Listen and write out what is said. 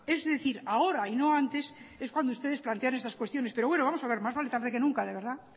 es decir ahora y no antes es cuando ustedes plantean estas cuestiones pero bueno vamos a ver más vale tarde que nunca de verdad